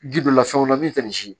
Ji dɔ la fɛn wɛrɛ min tɛ nin si